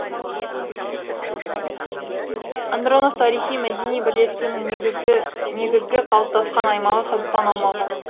андронов тарихи мәдени бірлестігінің негізгі қалыптасқан аймағы қазақстан аумағы